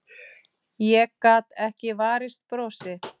Ég gat ekki varist brosi.